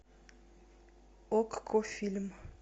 окко фильм